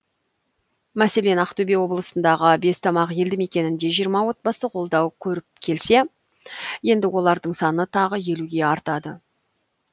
мәселен ақтөбе облысындағы бестамақ елді мекенінде жиырма отбасы қолдау көріп келсе енді олардың саны тағы елуге артады